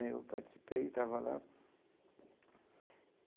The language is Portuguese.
Né eu participei, estava lá.